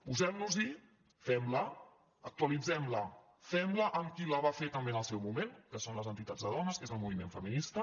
posem·nos·hi fem·la actualitzem·la fem·la amb qui la va fer també en el seu moment que són les entitats de dones que és el moviment feminista